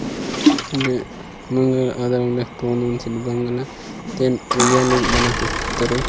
ने मंगल आदर रंडो तोनद स बंगला तेन वेइया ल बनाके तरु --